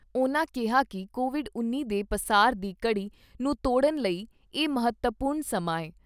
ਉਨ੍ਹਾਂ ਕਿਹਾ ਕਿ ਕੋਵਿਡ ਉੱਨੀ ਦੇ ਪਸਾਰ ਦੀ ਕੜੀ ਨੂੰ ਤੋੜਨ ਲਈ ਇਹ ਮਹੱਤਵਪੂਰਨ ਸਮਾਂ ਏ।